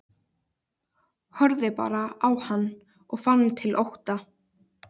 Horfði bara á hann og fann til ótta.